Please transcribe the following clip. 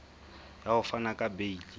ya ho fana ka beile